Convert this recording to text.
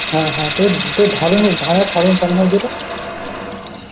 হ্যাঁ হ্যাঁ তো~ তোর ধারণ~